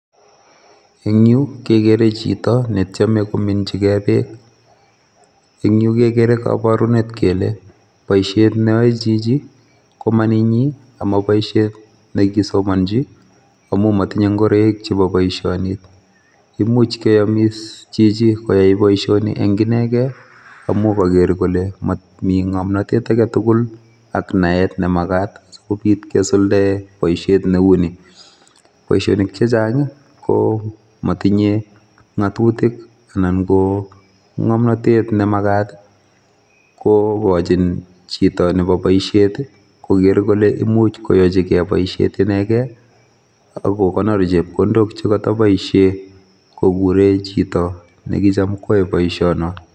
En yu kegere chito netieme kominyigei beek, eng yu kegere koborunet keleboishiet neyoe Chichi komanenyin ak moboishiet nekisomonyii Amin motindoi ingoroik chebo boishonii. Imuch koyomis Chichi boishoni en inegen, amun kogeer kole momii ngomnotet agetugul ak naet nemakaat sikobiit kisuldaen booshiet neunii. Boishonik chechang I continue ngatutik anan ko ngomnotet nemakaat kokochin chito Nebo boishiet i,kogeer kole imuch koyochigei booishiet inegen, ako kakonoor chepkondok chekotoboishienkokuren chito nekitam koyoe booishonon